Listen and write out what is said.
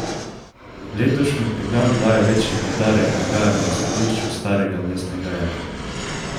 Letošnji program daje večji poudarek dogajanju v središču starega mestnega jedra.